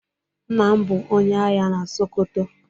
Nna m bu onye agha na Sokoto.